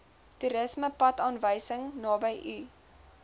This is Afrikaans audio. toerismepadaanwysing naby u